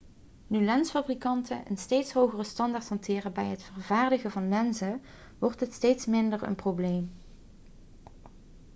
nu lensfabrikanten een steeds hogere standaard hanteren bij het vervaardigen van lenzen wordt dit steeds minder een probleem